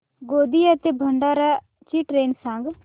गोंदिया ते भंडारा ची ट्रेन सांग